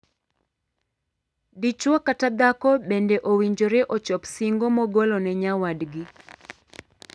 Dichwo kata dhako bende owinjore ochop singo mogolo ne nyawadgi.